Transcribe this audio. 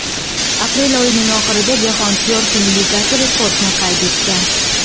Aprel oyining oxirida Jahon syorfing ligasi rekordni qayd etgan.